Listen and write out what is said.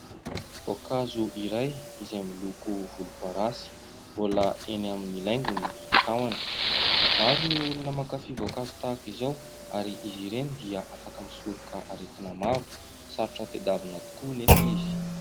Voankazo iray izay miloko volomparasy mbola eny amin'ny laingony ny tahony. Maro ny olona mankafia voankazo tahaka izao ary izy ireny dia afaka misoroka aretina maro. Sarotra tedavina tokoa nefa izy.